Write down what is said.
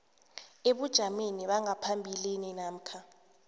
ebujameni bangaphambilini namkha